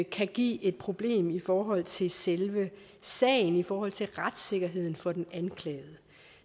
kan give et problem i forhold til selve sagen i forhold til retssikkerheden for den anklagede